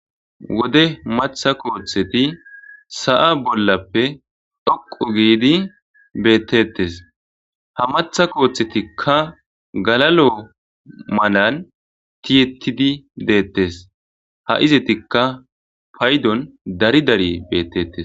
"Wode maththa kootheti sa'a bollappe dhoqqu giidi beetetes ha maththa koothetikka galalo malan ti'etidi dettes ha ezettika payddon dari dari beetetes."